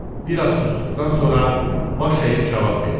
Bir az susduqdan sonra baş əyib cavab verdi.